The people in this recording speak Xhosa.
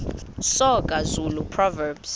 soga zulu proverbs